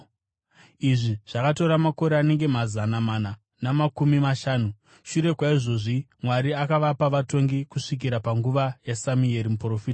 Izvi zvakatora makore anenge mazana mana namakumi mashanu. “Shure kwaizvozvi, Mwari akavapa vatongi kusvikira panguva yaSamueri muprofita.